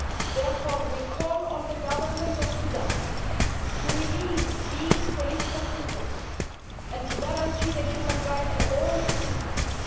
Therefore, we call on the government of Sudan to release these political prisoners and to guarantee the human rights of all its citizens.